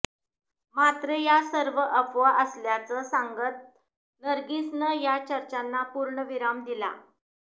मात्र या सर्व अफवा असल्याचं सांगत नर्गिसनं या चर्चांना पूर्णविराम दिला